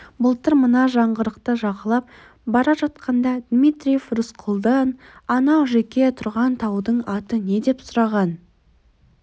былтыр мына жаңғырықты жағалап бара жатқанда дмитриев рысқұлдан анау жеке тұрған таудың аты не деп сұраған